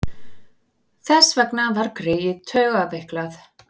Þess vegna var greyið taugaveiklað.